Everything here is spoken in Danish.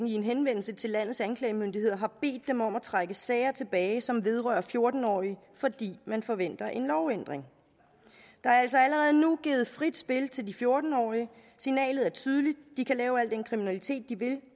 i en henvendelse til landets anklagemyndigheder bedt dem om at trække sager tilbage som vedrører fjorten årige fordi man forventer en lovændring der er altså allerede nu givet frit spil til de fjorten årige signalet er tydeligt de kan lave al den kriminalitet de vil